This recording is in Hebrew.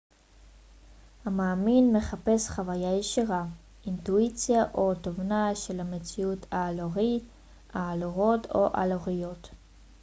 המאמין מחפש חוויה ישירה אינטואיציה או תובנה של המציאות האלוהית/האלוהות או האלוהויות